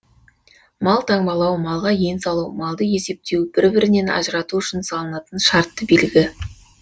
мал таңбалау малға ен салу малды есептеу бір бірінен ажырату үшін салынатын шартты белгі